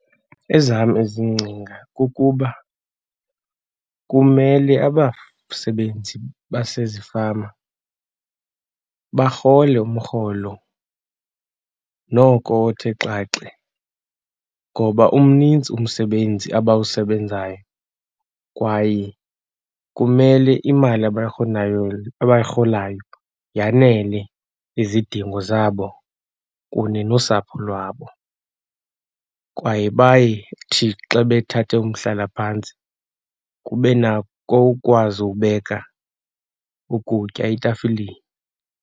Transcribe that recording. Ezam izingcinga kukuba kumele abasebenzi basezifama barhole umrholo noko othe xaxe ngoba umninzi umsebenzi abawusebenzayo kwaye kumele imali abayirholayo yanele izidingo zabo kunye nosapho lwabo. Kwaye bayithi xa bethatha umhlalaphantsi kube nako ukwazi ubeka ukutya etafileni.